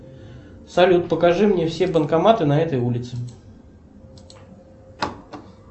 салют покажи мне все банкоматы на этой улице